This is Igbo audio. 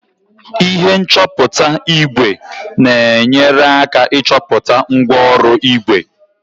ihe nchọpụta ígwè na-enyere aka ịchọpụta mgwooru ígwè